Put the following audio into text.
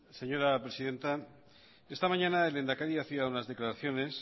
señora presidenta esta mañana el lehendakari hacía unas declaraciones